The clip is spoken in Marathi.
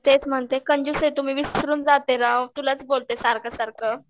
तेच म्हणते कंजूस आहे तू विसरून जाते राव. तुलाच बोलते सारखं सारखं.